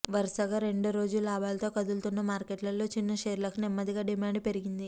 వరుసగా రెండో రోజు లాభాలతో కదులుతున్న మార్కెట్లలో చిన్న షేర్లకు నెమ్మదిగా డిమాండ్ పెరిగింది